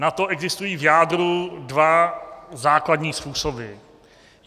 Na to existují v jádru dva základní způsoby.